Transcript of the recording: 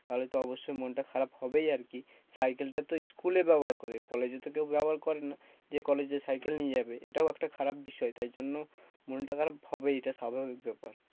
তাহলে তো অবশ্যই মনটা খারাপ হবেই আরকি। সাইকেল টা তো school এ ব্যবহার করে, কলেজে তো কেউ ব্যবহার করে না। যে কলেজে সাইকেল নিয়ে যাবে এটাও একটা খারাপ বিষয় তাই জন্য মনটা খারাপ হবেই এটা সাধারণ ব্যাপার।